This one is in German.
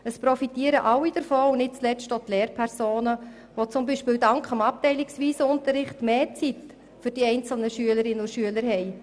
Es profitieren alle davon, nicht zuletzt auch die Lehrpersonen, die zum Beispiel dank des abteilungsweisen Unterrichts mehr Zeit für die einzelnen Schülerinnen und Schüler haben.